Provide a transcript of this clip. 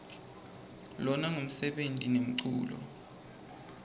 lona ngumsebeni nemculo